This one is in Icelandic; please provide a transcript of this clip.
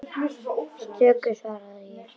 Stöku sinnum svaraði ég.